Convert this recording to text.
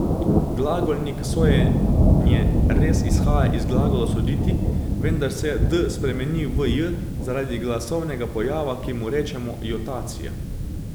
Glagolnik sojenje res izhaja iz glagola soditi, vendar se d spremeni v j zaradi glasovnega pojava, ki mu rečemo jotacija.